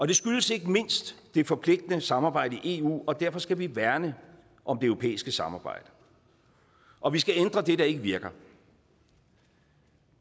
det skyldes ikke mindst det forpligtende samarbejde i eu og derfor skal vi værne om det europæiske samarbejde og vi skal ændre det der ikke virker